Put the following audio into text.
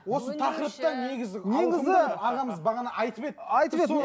осы тақырыпты негізі негізі ағамыз бағана айтып еді айтып еді